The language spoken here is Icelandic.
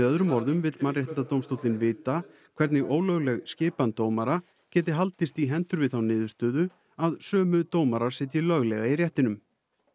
öðrum orðum vill Mannréttindadómstólinn vita hvernig ólögleg skipan dómara geti haldist í hendur við þá niðurstöðu að sömu dómarar sitji löglega í réttinum